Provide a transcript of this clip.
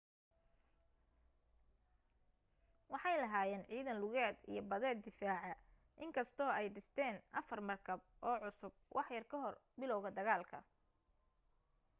waxay lahaayeen ciidan lugeed iyo badeed daciifa in kastoo ay dhisteen afar markab oo cusub wax yar ka hor bilowga dagaalka